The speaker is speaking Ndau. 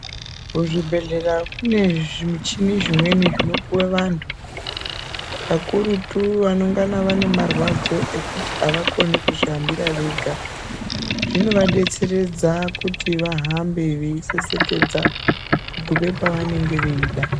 Muzvibhehleya mune zvimuchini zvimweni zvinopuwe vantu kakurutu vanongana vane marwadzo ekuti avakoni kuzvihambira vega zvinovadetseredza kuti vahambe vei sesekedza kugume pavanenge veida.